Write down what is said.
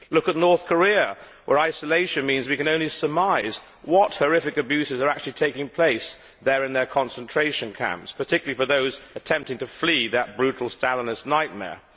Look at North Korea, where isolation means we can only surmise what horrific abuses are actually taking place there in their concentration camps, particularly for those attempting to flee that brutal Stalinist nightmare.